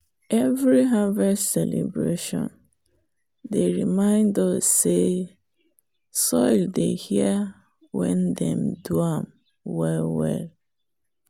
every harvest celebration dey remind us say soil they hear when dem do am well well.